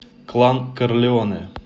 клан корлеоне